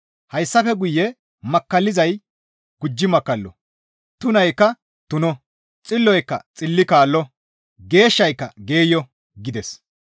Hayssafe guye makkallizay gujji makkallo, tunaykka tuno, xilloyka xilli kaallo, geeshshayka geeyo» gides.